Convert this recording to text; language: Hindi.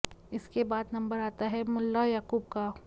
इसके बाद नंबर आता है मुल्ला याक़ूब का